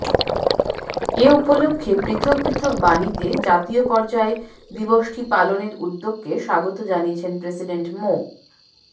এ উপলক্ষে পৃথক পৃথক বাণীতে জাতীয় পর্যায়ে দিবসটি পালনের উদ্যোগকে স্বাগত জানিয়েছেন প্রেসিডেন্ট মো